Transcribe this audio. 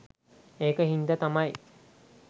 ඒක හින්ද තමයි